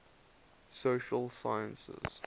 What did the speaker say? social sciences